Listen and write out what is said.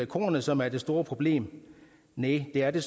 kornet som er det store problem næh det er det